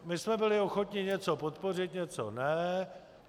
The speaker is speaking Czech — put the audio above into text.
My jsme byli ochotni něco podpořit, něco ne.